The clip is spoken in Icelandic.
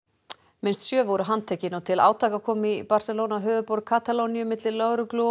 minnst sjö voru handtekin og til átaka kom í Barcelona höfuðborg Katalóníu milli lögreglu og